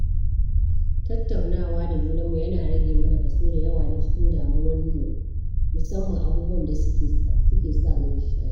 Tattaunawa da junanmu yana rage mana kaso dayawa na cikin damuwan mu musamman abubuwan da su ke samu nishaɗi.